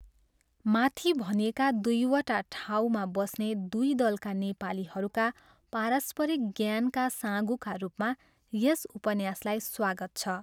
माथि भनिएका दुईवटा ठाउँमा बस्ने दुई दलका नेपालीहरूका पारस्परिक ज्ञानका साँघुका रूपमा यस उपन्यासलाई स्वागत छ।